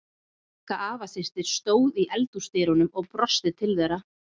Magga afasystir stóð í eldhúsdyrunum og brosti til þeirra.